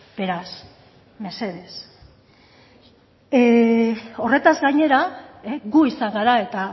beraz mesedez horretaz gainera gu izan gara eta